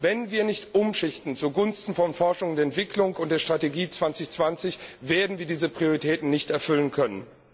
Wenn wir nicht umschichten zugunsten von Forschung und Entwicklung und der Strategie 2020, werden wir diese Prioritäten nicht erfüllen können.